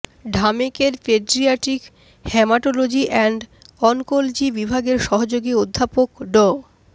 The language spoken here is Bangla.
ঢামেকের পেডিয়াট্রিক হ্যামাটোলজি অ্যান্ড অনকোলজি বিভাগের সহযোগী অধ্যাপক ড